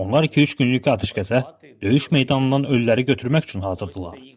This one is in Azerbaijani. Onlar iki-üç günlük atəşkəsə döyüş meydanından ölüləri götürmək üçün hazırdırlar.